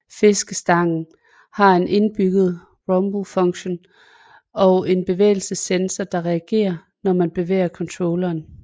Fiskestangen har en indbygget rumble funktion og en bevægelsessensor der reagere når man bevæger controlleren